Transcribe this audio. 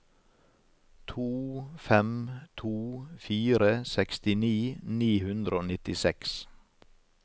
to fem to fire sekstini ni hundre og nittiseks